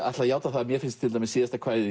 ætla að játa það að mér finnst síðasta kvæðið